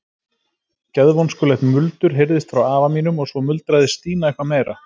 Geðvonskulegt muldur heyrðist frá afa mínum og svo muldraði Stína eitthvað meira.